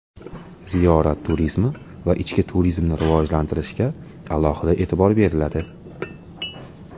Ziyorat turizmi va ichki turizmni rivojlantirishga alohida e’tibor beriladi.